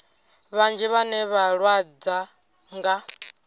vhanzhi vhane vha lwadzwa nga